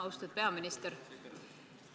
Austatud peaminister!